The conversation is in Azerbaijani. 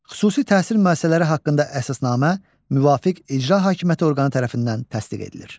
Xüsusi təhsil müəssisələri haqqında əsasnamə müvafiq icra hakimiyyəti orqanı tərəfindən təsdiq edilir.